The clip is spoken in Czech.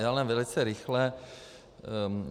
Jenom velice rychle.